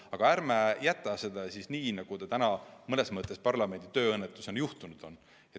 Aga ärme jätame seda asja nii, nagu ta praegu mõnes mõttes parlamendi tööõnnetusena on juhtunud.